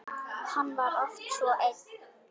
Hann var oft svo einn.